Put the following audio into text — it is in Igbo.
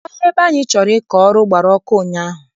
Ọhịa ebe anyị chọrọ ịkọ ọrụ gbara ọkụ ụnyaahụ.